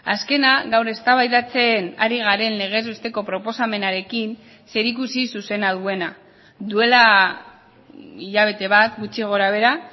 azkena gaur eztabaidatzen ari garen legez besteko proposamenarekin zerikusi zuzena duena duela hilabete bat gutxi gorabehera